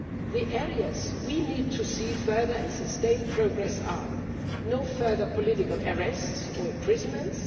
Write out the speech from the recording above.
The areas in which we need to see further and sustained progress are no further political arrests or imprisonments